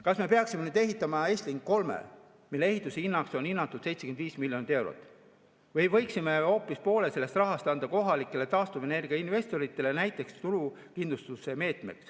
Kas me peaksime nüüd ehitama Estlink 3, mille ehituse hinnaks on hinnatud 75 miljonit eurot, või võiksime hoopis poole sellest rahast anda kohalikele taastuvenergiainvestoritele, näiteks turukindluse meetmeks?